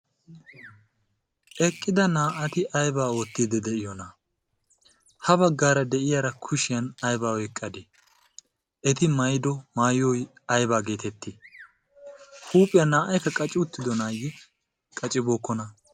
eqqida naa''ati aybaa oottidi de'iyoona ha baggaara de'iyaara kushiyan ayba oyqqadee eti mayido maayoy aybaa geetettii huuphiyaa naa''aykka qaci uttido naayye qacibookkona